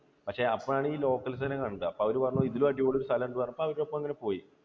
പക്ഷേ അപ്പോൾ ആണ് ഈ locals നെ കണ്ടത്. അപ്പോൾ അവര് പറഞ്ഞു ഇതു ഇതിലും അടിപൊളി സ്ഥലം ഉണ്ട് എന്ന് പറഞ്ഞപ്പോൾ അവർക്കൊപ്പം അങ്ങനെ പോയി